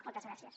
moltes gràcies